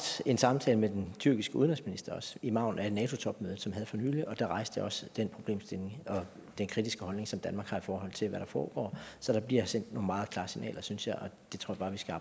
en samtale med den tyrkiske udenrigsminister i margenen af nato topmødet som vi havde for nylig og da rejste jeg også den problemstilling og den kritiske holdning som danmark har i forhold til hvad der foregår så der bliver sendt nogle meget klare signaler synes jeg